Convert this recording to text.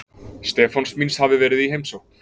Stefáns míns hafi verið í heimsókn.